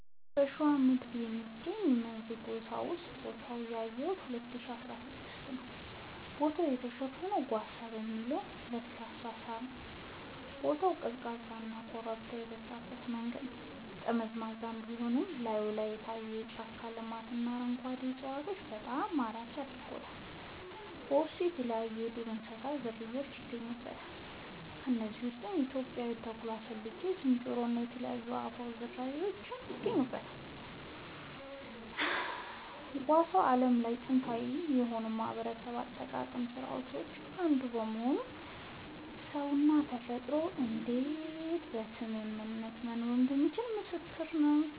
በሸዋ ምድር የሚገኘው መንዝ ጓሳ ቦታውን ያየሁት 2016 ነዉ ቦታው የተሸፈነው ጓሳ በሚባል ለስላሳ ሳር ነዉ ቦታው ቀዝቃዛና ኮረብታ የበዛበት መንገዱ ጠመዝማዛ ቢሆንም ላይን የሚታየው የጫካ ልማትና አረንጓዴ እፅዋቶች በጣም ማራኪ ያደርጉታል በውስጡ የተለያይዩ የዱር እንስሳት ዝርያውች ይገኙበታል ከነዚህም ውስጥ ኢትዮጵያዊው ተኩላ ጌልጌ ዝንጀሮ እና የተለያዩ የአእዋፋት ዝርያወች ይገኙበታል። ጓሳ በዓለም ላይ በጣም ጥንታዊ ከሆኑ የማህበረሰብ አጠባበቅ ስርዓቶች አንዱ በመሆኑ ሰውና ተፈጥሮ እንዴት በስምምነት መኖር እንደሚችሉ ምስክር ነዉ